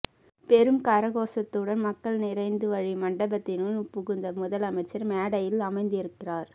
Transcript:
பெரும் கரகோசத்துடன் மக்கள் நிறைந்து வழியும் மண்டபத்தினுள் புகுந்த முதலமைச்சர் மேடையில் அமர்ந்திக்கிறார்